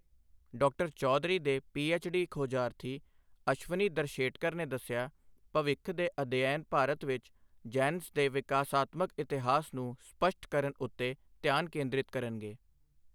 ਡਾ. ਚੌਧਰੀ ਦੇ P H D. ਖੋਜਾਰਥੀ ਅਸ਼ਵਨੀ ਦਰਸ਼ੇਟਕਰ ਨੇ ਦੱਸਿਆ, ਭਵਿੱਖ ਦੇ ਅਧਿਐਨ ਭਾਰਤ ਵਿੱਚ ਜੈਨਸ ਦੇ ਵਿਕਾਸਾਤਮਕ ਇਤਿਹਾਸ ਨੂੰ ਸਪੱਸ਼ਟ ਕਰਨ ਉੱਤੇ ਧਿਆਨ ਕੇਂਦ੍ਰਿਤ ਕਰਨਗੇ।